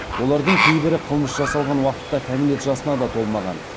олардың кейбірі қылмыс жасалған уақытта кәмелет жасына да толмаған